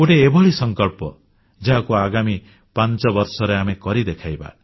ଗୋଟିଏ ଏଭଳି ସଂକଳ୍ପ ଯାହାକୁ ଆଗାମୀ 5 ବର୍ଷରେ ଆମେ କରି ଦେଖାଇବା